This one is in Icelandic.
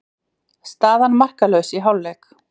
Staðan markalaus í hálfleik.